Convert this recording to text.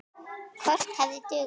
Kort hefði dugað.